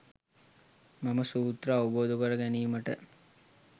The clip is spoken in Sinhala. මෙම සූත්‍ර අවබෝධ කර ගැනීමට